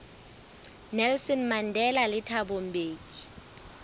nelson mandela le thabo mbeki